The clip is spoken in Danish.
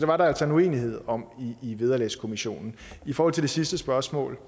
var der altså en uenighed om i vederlagskommissionen i forhold til det sidste spørgsmål